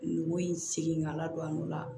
Nogo in seginna ka ladon o la